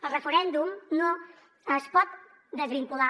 el referèndum no es pot desvincular